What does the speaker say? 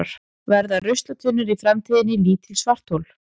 Verða ruslatunnur í framtíðinni lítil svarthol?